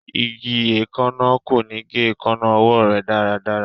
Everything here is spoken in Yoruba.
Igi eekanna ko ni ge eekanna ọwọ rẹ daradara